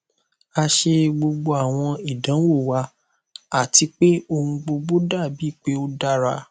a ṣe gbogbo awọn idanwo wa ati pe ohun gbogbo dabi pe o dara